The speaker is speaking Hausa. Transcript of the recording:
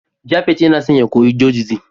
Japhet Yana son ya koya Judaism